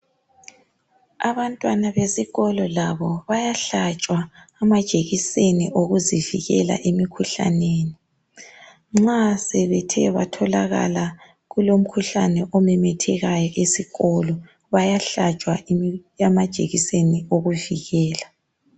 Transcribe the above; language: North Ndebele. Abantwana besikolo labo bayahlatshwa amajekiseni okuzivikela imikhuhlaneni. Nxa sebethe kwatholakala kulomkhuhlane omemethekayo esikolo bayahlatshwa amajekiseni okuvikela.